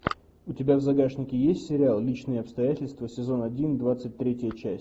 у тебя в загашнике есть сериал личные обстоятельства сезон один двадцать третья часть